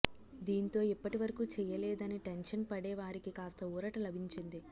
దీంతో ఇప్పటి వరకూ చేయలేదని టెన్షన్ పడే వారికి కాస్త ఊరట లభించింది